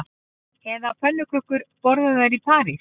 Eru pönnukökur borðaðar í París